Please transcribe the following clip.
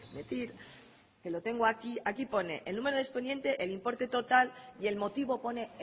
decir que lo tengo aquí aquí pone el número de expediente el importe total y el motivo pone